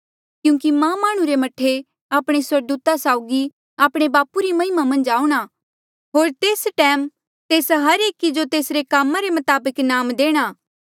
क्यूंकि मां माह्णुं रे मह्ठे आपणे स्वर्गदूता साउगी आपणे बापू री महिमा मन्झ आऊंणा होर तेस टैम तेस हर एकी जो तेसरे कामा रे मताबक इनाम देणा